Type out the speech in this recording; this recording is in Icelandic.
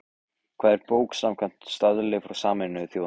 Hvað er bók samkvæmt staðli frá Sameinuðu þjóðunum?